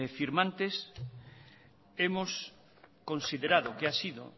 firmantes hemos considerado que ha sido